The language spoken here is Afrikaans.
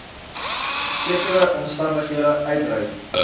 sekere omstandighede uitreik